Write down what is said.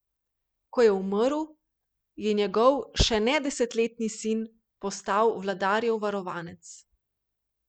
Ko je umrl, je njegov še ne desetletni sin postal vladarjev varovanec.